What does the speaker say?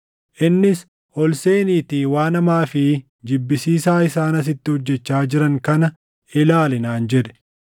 Innis, “Ol seeniitii waan hamaa fi jibbisiisaa isaan asitti hojjechaa jiran kana ilaali” naan jedhe.